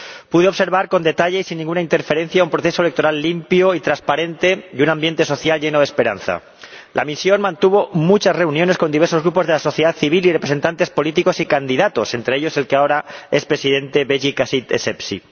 Pude observar con detalle, sin ninguna interferencia, un proceso electoral limpio y transparente y un ambiente social lleno de esperanza. La misión mantuvo muchas reuniones con diversos grupos de la sociedad civil y representantes políticos y candidatos, entre ellos el que ahora es Presidente, Beyi Caid Essebsi.